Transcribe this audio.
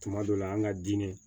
Tuma dɔ la an ka diinɛ